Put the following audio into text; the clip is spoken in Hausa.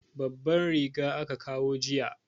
Babban riga aka kawo jiya.